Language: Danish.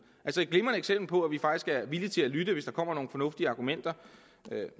altså et glimrende eksempel på at vi faktisk er villige til at lytte hvis der kommer nogle fornuftige argumenter